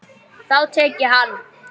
Þá tek ég hann!